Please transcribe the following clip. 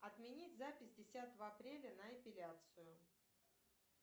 отменить запись десятого апреля на эпиляцию